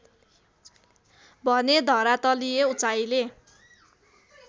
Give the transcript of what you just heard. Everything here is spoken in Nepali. भने धरातलीय उचाइले